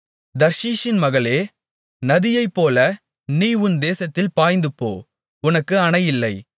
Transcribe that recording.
தர்ஷீஸின் மகளே நதியைப்போல நீ உன் தேசத்தில் பாய்ந்துபோ உனக்கு அணையில்லை